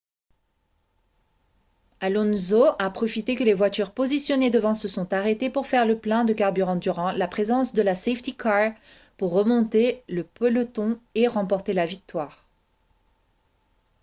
alonso a profité que les voitures positionnées devant se sont arrêtées pour faire le plein de carburant durant la présence de la safety car pour remonter le peloton et remporter la victoire